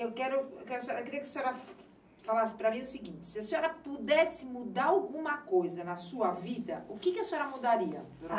Eu quero, queria que a senhora falasse para mim o seguinte, se a senhora pudesse mudar alguma coisa na sua vida, o quê que a senhora mudaria?